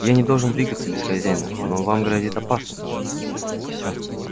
я не должен двигаться без хозяина но вам грозит опасность всё